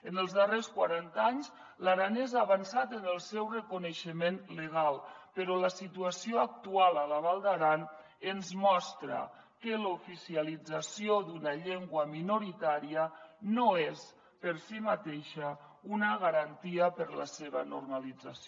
en els darrers quaranta anys l’aranès ha avançat en el seu reconeixement legal però la situació actual a la val d’aran ens mostra que l’oficialització d’una llengua minoritària no és per si mateixa una garantia per a la seva normalització